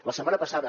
la setmana passada